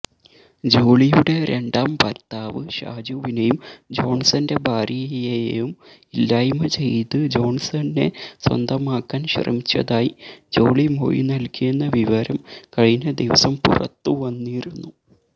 ജോളിയുടെ രണ്ടാം ഭര്ത്താവ് ഷാജുവിനെയും ജോണ്സന്റെ ഭാര്യയേയും ഇല്ലായ്മചെയ്ത് ജോണ്സനെ സ്വന്തമാക്കാന് ശ്രമിച്ചതായി ജോളി മൊഴിനല്കിയെന്ന വിവരം കഴിഞ്ഞദിവസം പുറത്തുവന്നിരുന്നു